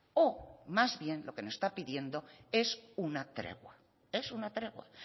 o más bien lo que nos está pidiendo es una tregua es una tregua